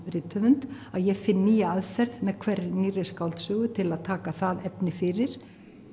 rithöfund að ég finn nýja aðferð með hverri nýrri skáldsögu til að taka það efni fyrir